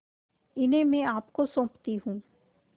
इन्हें मैं आपको सौंपती हूँ